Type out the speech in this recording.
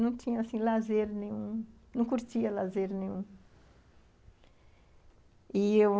Não tinha, assim, lazer nenhum, não curtia lazer nenhum. E eu